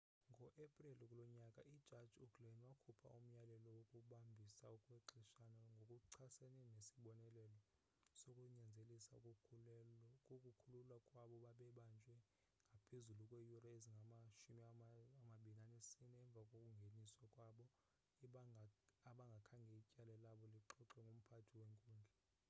ngo-epreli kulo nyaka ijaji uglynn wakhupha umyalelo wokubambisa okwexeshana ngokuchasene nesibonelelo sokunyanzelisa ukukhululwa kwabo babebanjwe ngaphezulu kweeyure ezingama-24 emva kokungeniswa kwabo abangakhange ityala labo lixoxwe ngumphathi wenkundla